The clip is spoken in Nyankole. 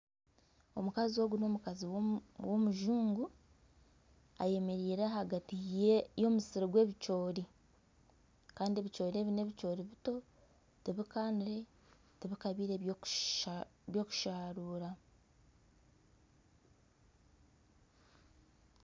Omukazi ogu n'omukazi w'omujungu ayemereire ahagati y'omusiri gw'ebicoori kandi ebicoori ebi n'ebicoori bito tibikanire tibikabeire byokusharura